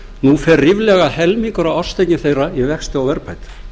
nú fer ríflega helmingur af árstekjum þeirra í vexti og verðbætur